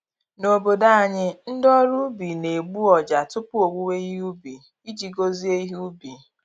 N’obodo anyị, ndị ọrụ ubi na-egbu ọjà tupu owuwe ihe ubi, iji gozie ihe ubi.